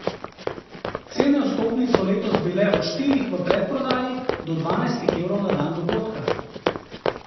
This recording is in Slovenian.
Cene vstopnic so letos bile od štirih v predprodaji do dvanajstih evrov na dan dogodka.